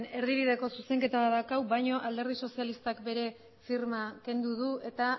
erdibireko zuzenketa badakau baño alderdi sozialistak bere firma kendu du eta